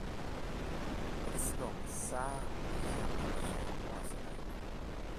Ekisikong' saa oshi enkarusho oo sikarini